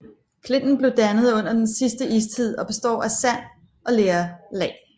Klinten blev dannet under den sidste istid og består af sand og lerlag